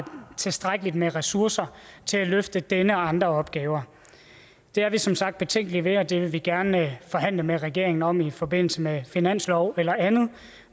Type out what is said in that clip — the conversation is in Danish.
tilstrækkeligt med ressourcer til at løfte denne og andre opgaver det er vi som sagt betænkelige ved og det vil vi gerne forhandle med regeringen om i forbindelse med finansloven eller andet